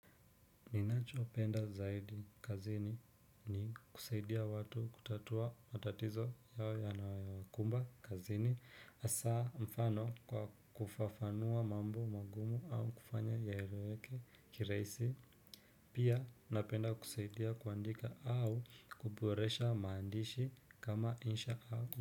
Ninacho penda zaidi kazini ni kusaidia watu kutatua matatizo yao yanayo wakumba kazini hasaa mfano kwa kufafanua mambo magumu au kufanya yaeleweje kirahisi pia napenda kusaidia kuandika au kuboresha maandishi kama insha au.